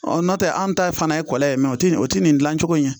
n'o tɛ an ta ye fana ye kɔlɔn ye mɛ o tɛ nin o tɛ nin dilancogo ye